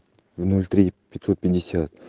ноль три пятьсот пятьдесят